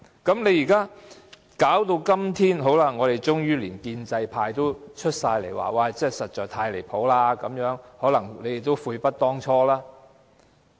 到了今天，連建制派都通通出來表示這樣太離譜了，可能你們都悔不當初。